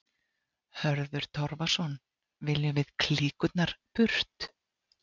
Hörður Torfason: Viljum við klíkurnar burt?